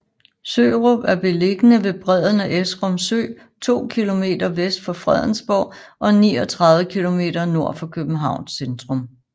Sørup er beliggende ved bredden af Esrum Sø to kilometer vest for Fredensborg og 39 kilometer nord for Københavns centrum